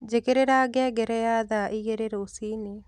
njĩkĩrĩra ngengere ya thaa ĩgĩrĩ rũcĩĩnĩ